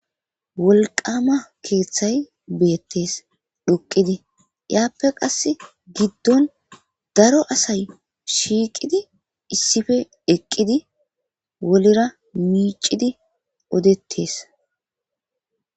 Wolqama keeththay beettes dhoqidi iyaappe qass giddon daro asay shiiqidi issife eqqidi wolera miicidi odettes.